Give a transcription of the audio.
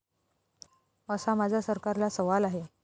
असा माझा सरकारला सवाल आहे.